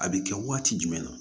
A bɛ kɛ waati jumɛn na